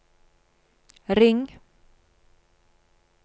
ring